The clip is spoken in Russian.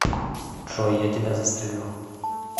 джой я тебя застрелю